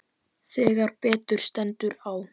Þegar betur stendur á